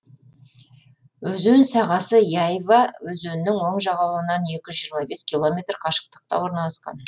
өзен сағасы яйва өзенінің оң жағалауынан екі жүз жиырма бес километр қашықтықта орналасқан